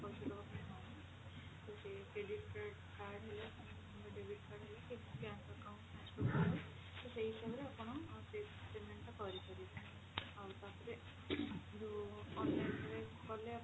ତ ସେଇ credit କା card ହେଲା କି debit card ହେଲା କି bank account transfer ହେଲା ତ ସେଇ ହିସାବରେ ଆପଣ pay payment ତା କରିବେ ଆଇ ତାପରେ ଯଉ online ରେ କଲେ